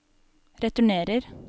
returnerer